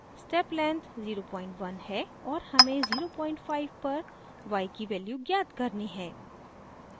step length 01 है और हमें 05 पर y की वैल्यू ज्ञात करनी है